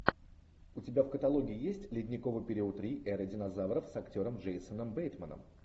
у тебя в каталоге есть ледниковый период три эра динозавров с актером джейсоном бейтманом